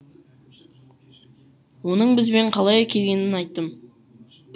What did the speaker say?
оның бізбен қалай келгенін айттым